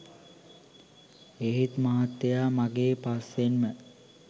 ඒත් මහත්තයා මගේ පස්සෙන්ම